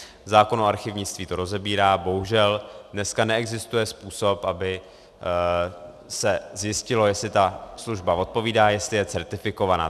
Zákon o archivnictví to rozebírá, bohužel dneska neexistuje způsob, aby se zjistilo, jestli ta služba odpovídá, jestli je certifikovaná.